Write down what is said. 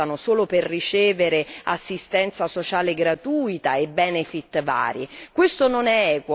Quanti si spostano solo per ricevere assistenza sociale gratuita e benefit vari!